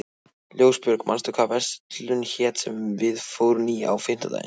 Ljósbjörg, manstu hvað verslunin hét sem við fórum í á fimmtudaginn?